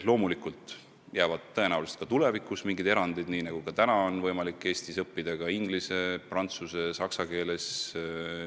Loomulikult jäävad tõenäoliselt ka tulevikus mingid erandid, nii nagu praegu on võimalik Eestis õppida ka inglise, prantsuse ja saksa keeles.